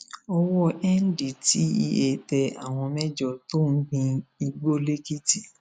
owó ndtea tẹ àwọn mẹjọ tó ń gbin igbó lẹkìtì